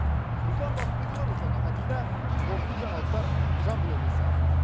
руслан бақытбекұлы руслан ахатіллә қорытынды жаңалықтар жамбыл облысы